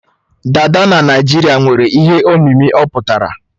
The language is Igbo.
Dada na Naijiria nwere ihe omimi ọ pụtara.